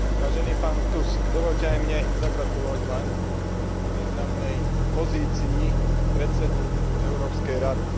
Vážený pán Tusk, dovoľte aj mne zagratulovať Vám k významnej pozícii predsedu Európskej rady.